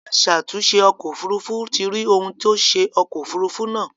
Aṣàtunṣè ọkọ̀ òfurufú ti rí ohun tó ṣe ọkọ̀ òfurufú náà.